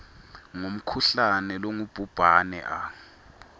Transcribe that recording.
ngumkhuhlane longubhubhane a